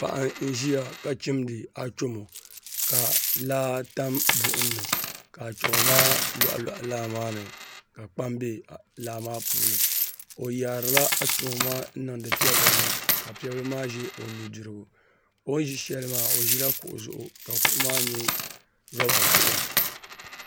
Paɣa n ʒiya ka chimdi achomo ka laa tam buɣum ni ka achomo maa loɣa loɣa laa maa ni ka kpam bɛ laa maa puuni o yaarila achomo maa n niŋdi piɛbili ni ka piɛ bili maa ʒɛ o nudirigu o ni ʒi shɛli maa o ʒila kuɣu zuɣu ka kuɣu maa nyɛ roba kuɣu